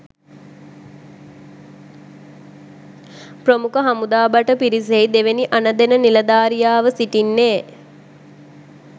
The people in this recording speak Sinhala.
ප්‍රමුඛ හමුදා භට පිරිසෙහි දෙවෙනි අණ දෙන නිලධාරියාව සිටින්නේ.